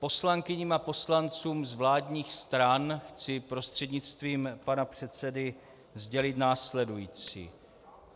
Poslankyním a poslancům z vládních stran chci prostřednictvím pana předsedy sdělit následující.